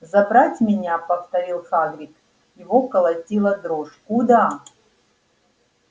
забрать меня повторил хагрид его колотила дрожь куда